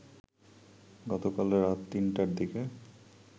গতকাল রাত ৩টার দিকে